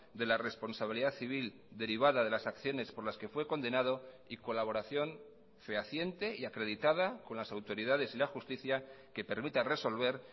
de la responsabilidad civil derivada de las acciones por las que fue condenado y colaboración fehaciente y acreditada con las autoridades y la justicia que permita resolver